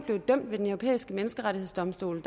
dømt ved den europæiske menneskerettighedsdomstol i